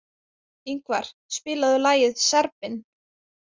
Yngvar, spilaðu lagið „Serbinn“.